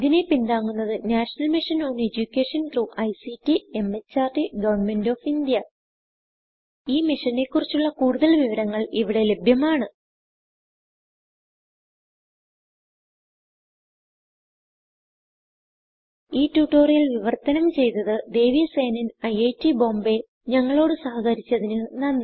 ഇതിനെ പിന്താങ്ങുന്നത് national mission on education through ICT MHRD government of India ഈ മിഷനെ കുറിച്ചുള്ള കുടുതൽ വിവരങ്ങൾ ഇവിടെ ലഭ്യമാണ് ഈ ട്യൂട്ടോറിയൽ വിവർത്തനം ചെയ്തത് ദേവി സേനൻIIT Bombayഞങ്ങളോട് സഹകരിച്ചതിന് നന്ദി